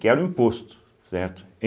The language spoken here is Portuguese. Que era o imposto, certo?